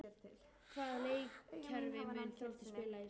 Hvaða leikkerfi mun Þróttur spila í sumar?